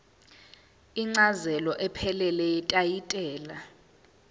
incazelo ephelele yetayitela